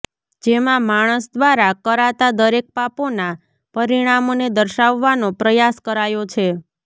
જેમાં માણસ દ્વારા કરાતા દરેક પાપોના પરિણામોને દર્શાવવાનો પ્રયાસ કરાયો છે